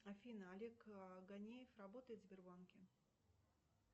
афина олег гоняев работает в сбербанке